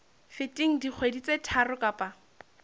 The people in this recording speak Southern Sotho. feteng dikgwedi tse tharo kapa